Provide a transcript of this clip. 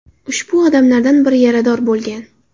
Ushbu odamlardan biri yarador bo‘lgan.